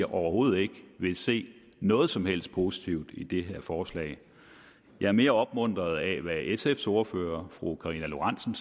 overhovedet ikke vil se noget som helst positivt i det her forslag jeg er mere opmuntret af hvad sfs ordfører fru karina lorentzen